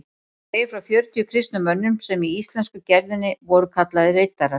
Hún segir frá fjörutíu kristnum mönnum sem í íslensku gerðinni voru kallaðir riddarar.